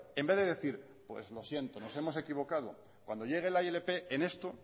en vez de decir pues lo siento nos hemos equivocado cuando llegue la ilp en esto